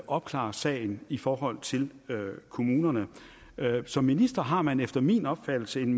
opklare sagen i forhold til kommunerne som minister har man efter min opfattelse en